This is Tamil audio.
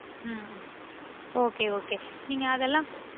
உம் உம் okay okay நீங்க அதெல்லாம்